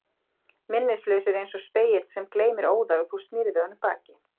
Minnislausir eins og spegill sem gleymir óðar og þú snýrð við honum baki.